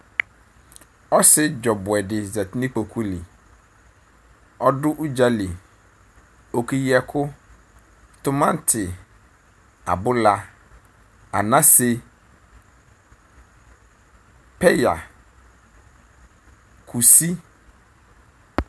Ɔsi dzɔ ɔbuɛ di zati n'ikpoku li Ɔdʋ udzali k'ɔkeyi ɛkʋ Tʋmati, abʋla, anasɛ, peya, kusi